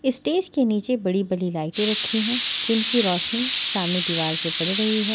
Stage के नीचे बड़ी बली लाइटें रखी हैं जिनकी रोशनी सामने दीवार पर पड़ रही है।